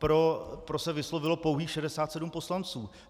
Pro se vyslovilo pouhých 67 poslanců.